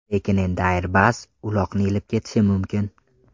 Lekin endi Airbus uloqni ilib ketishi mumkin.